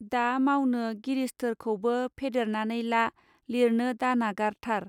दा मावनो गिरिस्थोरखौबो फेदेरनानै ला लिरनो दानागारथार.